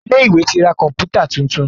Ilé ìwé tí rá Kọ̀ǹpútà títún.